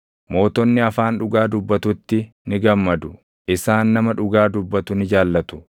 Mootonni afaan dhugaa dubbatutti ni gammadu; isaan nama dhugaa dubbatu ni jaallatu.